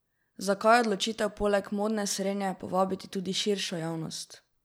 Zakaj odločitev poleg modne srenje povabiti tudi širšo javnost?